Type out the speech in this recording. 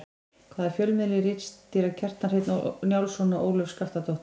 Hvaða fjölmiðli ritstýra Kjartan Hreinn Njálsson og Ólöf Skaftadóttir?